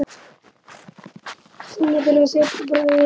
Sonur þeirra er Sveinn Bragi.